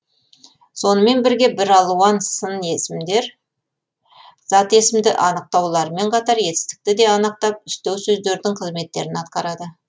сонымен бірге бір алуан сын есімдер зат есімді анықтауларымен қатар етістікті де анықтап үстеу сөздердің қызметтерін атқарады